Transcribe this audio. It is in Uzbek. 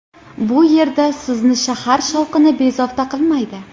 Bu yerda sizni shahar shovqini bezovta qilmaydi.